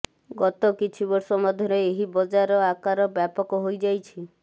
ଗତ କିଛି ବର୍ଷ ମଧ୍ୟରେ ଏହି ବଜାର ଆକାର ବ୍ୟାପକ ହୋଇଯାଇଛି